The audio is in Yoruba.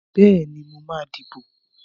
Bẹ́ẹ̀ni, mo máa dìbò.